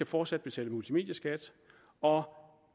fortsat betale multimedieskat og